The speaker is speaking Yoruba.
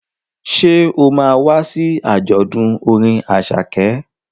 Ṣé o ma wá sí àjọ̀dún orin Àṣàkẹ́?